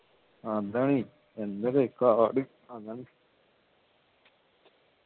ഇതാണ് എന്തൊരു കാട് അതാണ്